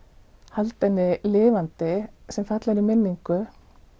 halda henni lifandi sem fallegri minningu